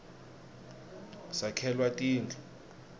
sakhelwa tindu